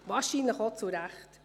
Wahrscheinlich auch zu Recht.